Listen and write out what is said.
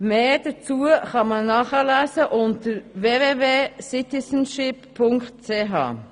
Mehr dazu kann man nachlesen unter www.citizenship.ch.